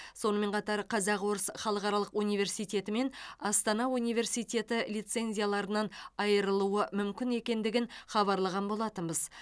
сонымен қатар қазақ орыс халықаралық университеті мен астана университеті лицензияларынан айырылуы мүмкін екендігін хабарлаған болатынбыз